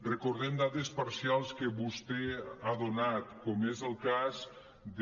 recordem dades parcials que vostè ha donat com és el cas de